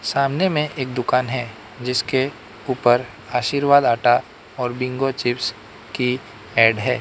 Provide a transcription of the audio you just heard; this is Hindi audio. सामने में एक दुकान है जिसके ऊपर आशीर्वाद आटा और बिंगो चिप्स की एड है।